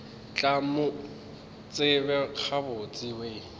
tla mo tseba gabotse we